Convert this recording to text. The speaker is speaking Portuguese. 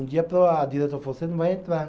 Um dia a diretora falou, você não vai entrar.